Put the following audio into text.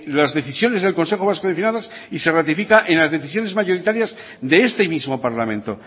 las decisiones del consejo vasco de finanzas y se ratifica en las decisiones mayoritarias de este mismo parlamento